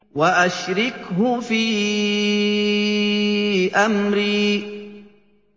وَأَشْرِكْهُ فِي أَمْرِي